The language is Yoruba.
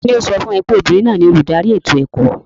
Ta ni ó sọ fún ọ pé obìnrin náà ni olùdarí ètò ẹ̀kọ́?